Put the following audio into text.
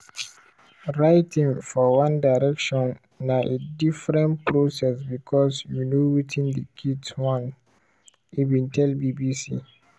"writing for one direction na a different process because you know wetin di kids want" e bin tell bbc.